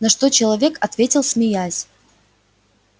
на что человек ответил смеясь